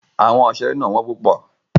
Àwọn ìṣeré náà wọ́n púpọ̀.